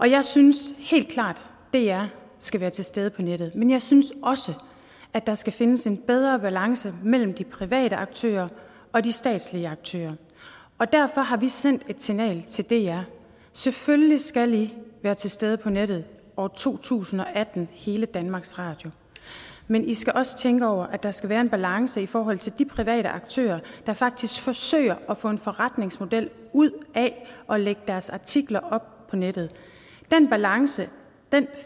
jeg synes helt klart at dr skal være til stede på nettet men jeg synes også at der skal findes en bedre balance mellem de private aktører og de statslige aktører derfor har vi sendt et signal til dr selvfølgelig skal i være til stede på nettet i år to tusind og atten hele danmarks radio men i skal også tænke over at der skal være en balance i forhold til de private aktører der faktisk forsøger at få en forretningsmodel ud af at lægge deres artikler op på nettet den balance